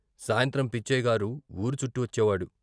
సాయంత్రం పిచ్చయ్యగారు వూరు చుట్టివచ్చేవాడు.